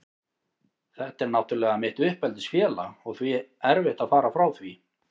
Þetta er náttúrlega mitt uppeldisfélag og því erfitt að fara frá því.